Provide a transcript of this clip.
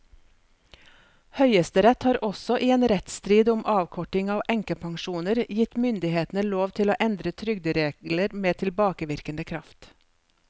Høyesterett har også i en rettsstrid om avkorting av enkepensjoner gitt myndighetene lov til å endre trygderegler med tilbakevirkende kraft.